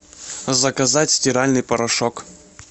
заказать стиральный порошок